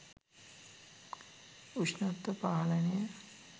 උෂ්ණත්ව පාලනය